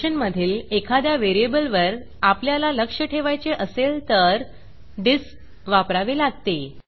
फंक्शनमधील एखाद्या व्हेरिएबलवर आपल्याला लक्ष ठेवायचे असेल तर dispडिस्प वापरावे लागते